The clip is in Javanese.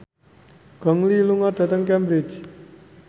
Gong Li lunga dhateng Cambridge